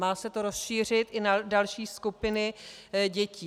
Má se to rozšířit i na další skupiny dětí.